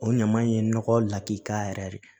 O ɲama in ye nɔgɔ lakikaya yɛrɛ de